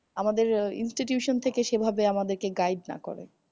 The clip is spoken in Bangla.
আমাদের institution থেকে সেভাবে আমাদেরকে guide না করে।